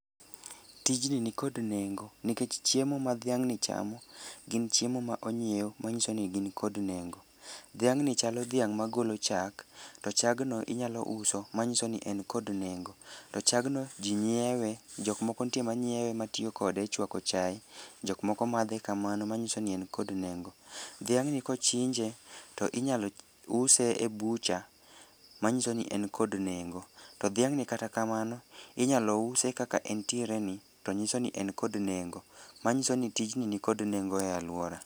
Tijni nikod nengo nikech chiemo ma dhiang'ni chamo, gin chiemo ma onyiew ma nyiso ni gin kod nengo. Dhiang' ni chalo dhiang' ma golo chak, to chagno inyalo uso ma nyiso ni en kod nengo. To chagno ji nyiewe, jok moko nitie manyiewe matiyo kode e chwako chae. Jok moko madhe kamano ma nyiso ni en kod nengo. Dhiang' ni kochinje to inyalo use e bucha, manyiso ni en kod nengo. To dhiang'ni kata kamano, inyalo use kaka entiere ni to nyiso ni en kod nengo. Manyiso ni tijni ni kod nengo e alwora.